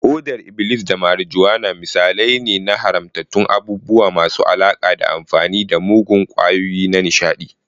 hodar iblis da marijuana misalai ne na haramtattun abubuwa masu alaƙa da amfani da muggan ƙwayoyi na nishaɗi.